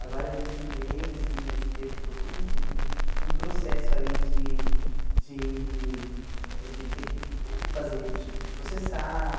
Agora eles se veem assim, mas teve todo um um processo aí de de de ter que fazer, tipo de processar.